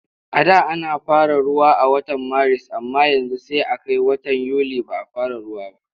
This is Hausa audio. A da ana fara ruwa a watan Maris amma yanzu sai a kai watan Yuli ba a fara ruwa ba.